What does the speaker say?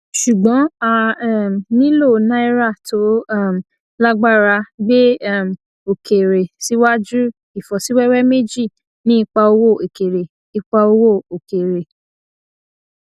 ṣùgbọn a um nílò náírà tó um lágbára gbé um òkèèrè síwájú ìfọsíwẹwẹ méjì ní ipa owó òkèèrè ipa owó òkèèrè